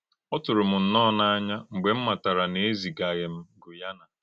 Ọ tūrù m nnọọ n’àǹyà mgbè m màtárà na e zìgàghị m Gùyánà.